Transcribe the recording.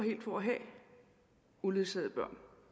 for at have uledsagede børn